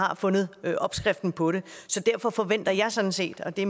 har fundet opskriften på det så derfor forventer jeg sådan set og det